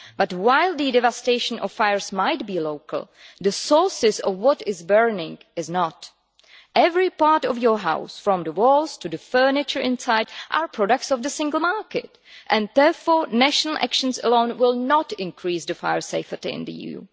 But while the devastation of fires might be local, the sources of what is burning is not. Every part of your house, from the walls to the furniture inside, are products of the single market, and therefore national actions alone will not increase fire safety in the EU.